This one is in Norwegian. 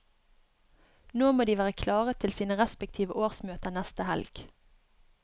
Nå må de være klare til sine respektive årsmøter neste helg.